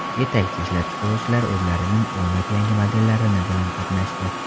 Yetakchi ishlab chiqaruvchilar o‘zlarining o‘nlab yangi modellarini bilan qatnashdi.